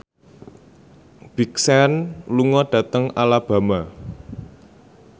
Big Sean lunga dhateng Alabama